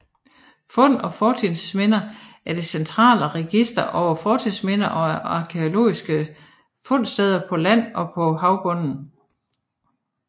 Fund og Fortidsminder er det centrale register over fortidsminder og arkæologiske fundsteder på land og på havbunden